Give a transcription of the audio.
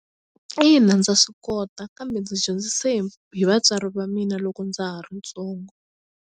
Ina ndza swi kota kambe ndzi dyondzise hi vatswari va mina loko ndza ha ri ntsongo.